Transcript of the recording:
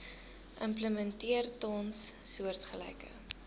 implementeer tans soortgelyke